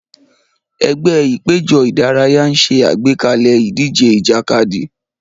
Ẹgbẹ́ ìpéjọ ìdárayá ń ṣe àgbékalẹ̀ ìdíje ìjàkadì.